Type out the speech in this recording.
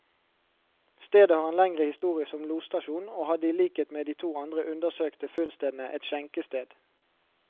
Stedet har en lengre historie som losstasjon, og hadde i likhet med de to andre undersøkte funnstedene, et skjenkested.